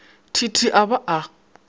t t a ba a